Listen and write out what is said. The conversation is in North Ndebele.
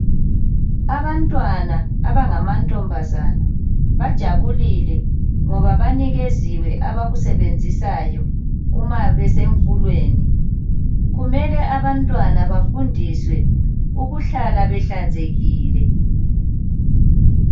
Abantwana abangama ntombazana bajabulile ngoba banikeziwe abakusebenzisayo uma besemfulweni. Kumele abantwana bafundiswe ukuhlala behlanzekile.